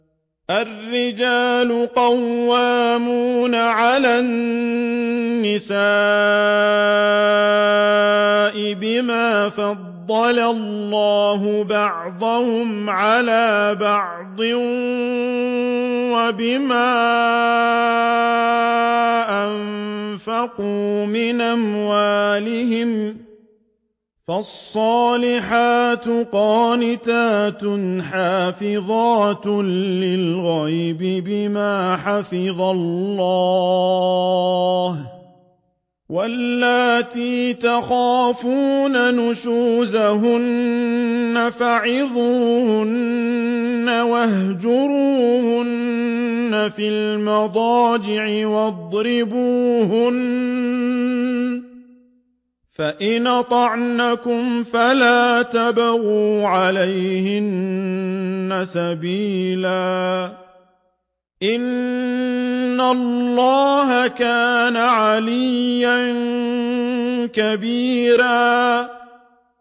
الرِّجَالُ قَوَّامُونَ عَلَى النِّسَاءِ بِمَا فَضَّلَ اللَّهُ بَعْضَهُمْ عَلَىٰ بَعْضٍ وَبِمَا أَنفَقُوا مِنْ أَمْوَالِهِمْ ۚ فَالصَّالِحَاتُ قَانِتَاتٌ حَافِظَاتٌ لِّلْغَيْبِ بِمَا حَفِظَ اللَّهُ ۚ وَاللَّاتِي تَخَافُونَ نُشُوزَهُنَّ فَعِظُوهُنَّ وَاهْجُرُوهُنَّ فِي الْمَضَاجِعِ وَاضْرِبُوهُنَّ ۖ فَإِنْ أَطَعْنَكُمْ فَلَا تَبْغُوا عَلَيْهِنَّ سَبِيلًا ۗ إِنَّ اللَّهَ كَانَ عَلِيًّا كَبِيرًا